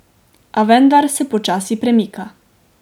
A vendar se počasi premika.